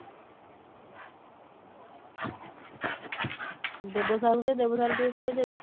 ଦେବ sir ଙ୍କୁ ଦେ Deb sir ଟିକେ କହିଦେବେ